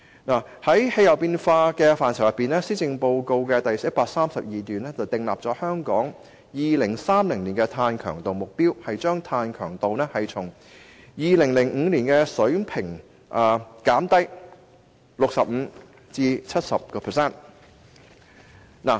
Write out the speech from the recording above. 就氣候變化，施政報告第132段訂定香港在2030年的碳強度目標，將碳強度從2005年的水平減低 65% 至 70%。